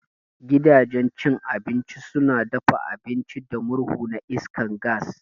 Gidanjen cin abinci suna dafa abinci da murhu na iskar gas